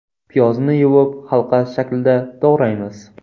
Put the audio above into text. Piyozni yuvib, halqa shaklida to‘g‘raymiz.